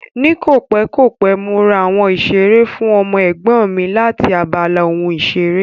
Ní kòpẹ́ kòpẹ́, mo ra àwọn ìṣeré fún ọmọ Ẹ̀gbọ́n mi láti abala ohun ìṣeré